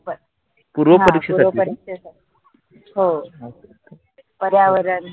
हो पर्यावरण